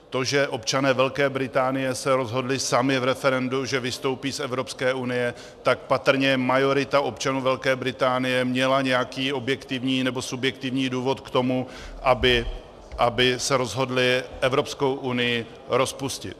To, že občané Velké Británie se rozhodli sami v referendu, že vystoupí z Evropské unie, tak patrně majorita občanů Velké Británie měla nějaký objektivní nebo subjektivní důvod k tomu, aby se rozhodla Evropskou unii rozpustit.